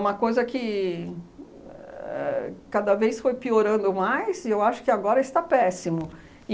uma coisa a que cada vez foi piorando mais e eu acho que agora está péssimo.